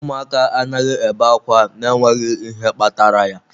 Ụmụaka anaghị ebe ákwá n'enweghị ihe kpatara ya.